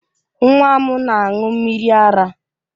Nwa m na aṅụ mmiri ara